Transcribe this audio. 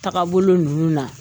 Taa bolo ninnu na